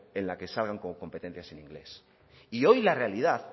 en la que salgan con competencias en inglés y hoy la realidad